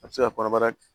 A bɛ se ka kɔnɔbara